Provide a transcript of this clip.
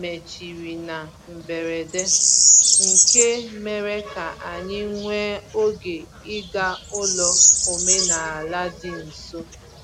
mechiri na mberede, nke mere ka anyị nwee oge ịga ụlọ omenala dị nso.